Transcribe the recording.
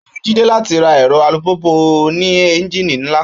Ó wu Jídé láti ra ẹ̀rọ alùpùpù oní ẹ́ńjìnì ńlá